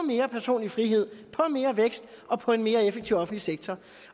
mere personlig frihed på mere vækst og på en mere effektiv offentlig sektor